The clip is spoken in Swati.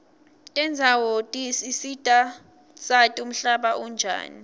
tendzawo tisisita sati umhlaba unjani